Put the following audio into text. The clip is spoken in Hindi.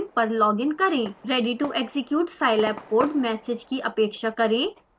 ready to execute scilab code message की अपेक्षा करें